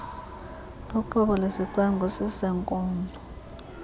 luqobo lwesicwangciso seenkonzo